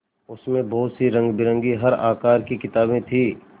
उसमें बहुत सी रंगबिरंगी हर आकार की किताबें थीं